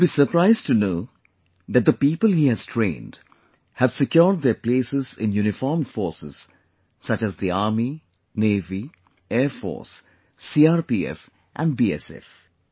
You will be surprised to know that the people this organization has trained, have secured their places in uniformed forces such as the Army, Navy, Air Force, CRPF and BSF